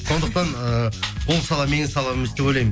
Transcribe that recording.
сондықтан ыыы ол сала менің салам емес деп ойлаймын